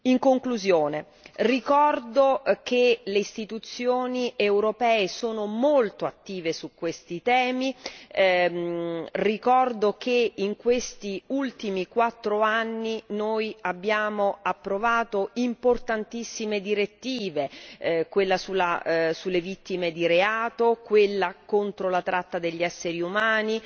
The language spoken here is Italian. In conclusione, ricordo che le istituzioni europee sono molto attive su questi temi, ricordo che in questi ultimi quattro anni noi abbiamo approvato importantissime direttive quella sulle vittime di reato, quella contro la tratta degli esseri umani,